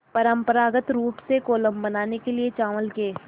परम्परागत रूप से कोलम बनाने के लिए चावल के